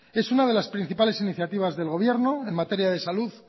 es una de las principales iniciativas del gobierno en materia de salud